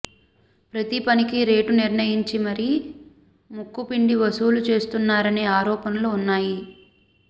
ప్రతి పనికి రేటు నిర్ణయించి మరి ముక్కుపిండి వసూలు చేస్తున్నారనే ఆరోపణలు ఉన్నాయి